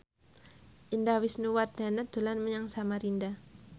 Indah Wisnuwardana dolan menyang Samarinda